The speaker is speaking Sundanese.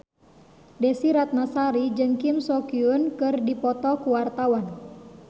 Desy Ratnasari jeung Kim So Hyun keur dipoto ku wartawan